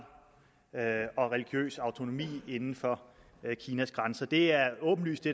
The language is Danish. og religiøs autonomi inden for kinas grænser det er åbenlyst det